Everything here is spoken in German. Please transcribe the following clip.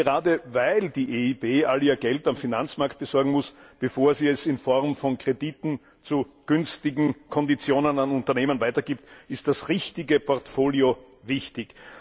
Gerade weil die EIB all ihr Geld am Finanzmarkt besorgen muss, bevor sie es in Form von Krediten zu günstigen Konditionen an Unternehmen weitergibt, ist das richtige Portfolio wichtig.